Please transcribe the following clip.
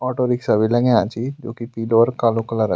Auto rickshaw भी लग्याँ छि जुकी पीलू और कालू कलर क छि।